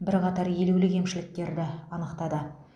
бірқатар елеулі кемшіліктерді анықтады